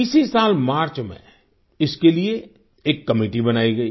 इसी साल मार्च में इसके लिए एक कमेटी बनाई गई